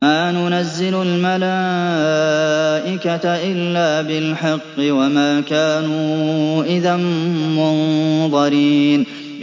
مَا نُنَزِّلُ الْمَلَائِكَةَ إِلَّا بِالْحَقِّ وَمَا كَانُوا إِذًا مُّنظَرِينَ